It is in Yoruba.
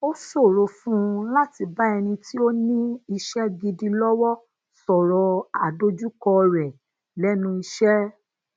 ó ṣòro fún un láti bá ẹnì ti ó ní iṣé gidi lowo soro adojuko re lenu ise